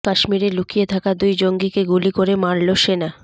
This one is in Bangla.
কাশ্মীরে লুকিয়ে থাকা দুই জঙ্গিকে গুলি করে মারল সেনা